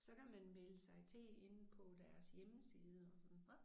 Så kan man melde sig til inde på deres hjemmeside og sådan